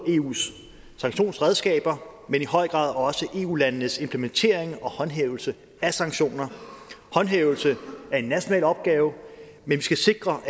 eus sanktionsredskaber men i høj grad også eu landenes implementering og håndhævelse af sanktioner håndhævelse er en national opgave men vi skal sikre